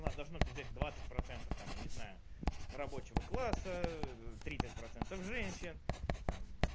у нас должны это взять двадцать процентов там я не знаю рабочего класса тридцать процентов женщин там